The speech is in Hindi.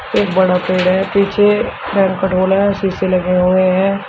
एक बड़ा पेड़ है पीछे पेड़ का ढोला है शीशे लगे हुए हैं।